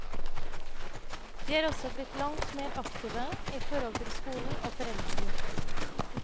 De er også blitt langt mer aktive i forhold til skolen og foreldregrupper.